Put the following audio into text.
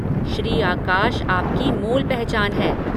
श्री आकाश आपकी मूल पहचान है।